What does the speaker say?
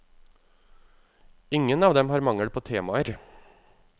Ingen av dem har mangel på temaer.